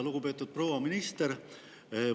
Lugupeetud proua minister!